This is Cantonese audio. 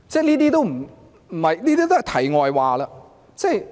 這些都是題外話。